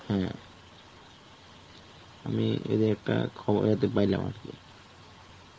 আমি এদের একটা খবর হাতে পাইলাম আর কি.